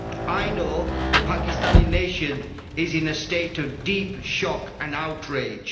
I know the Pakistani nation is in a state of deep shock and outrage.